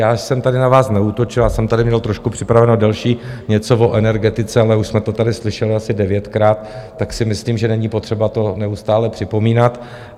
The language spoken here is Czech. Já jsem tady na vás neútočil, já jsem tady měl trošku připraveno delší něco o energetice, ale už jsme to tady slyšeli asi devětkrát, tak si myslím, že není potřeba to neustále připomínat.